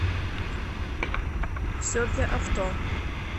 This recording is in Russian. все для авто